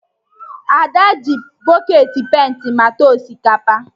Ada ji bọketị penta mata osikapa